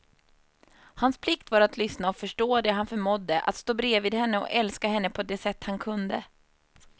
Hans plikt var att lyssna och förstå det han förmådde, och stå bredvid henne och älska henne på det sätt han kunde.